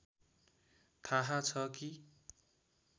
थाह छ कि